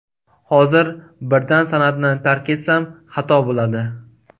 Hozir birdan san’atni tark etsam, xato bo‘ladi.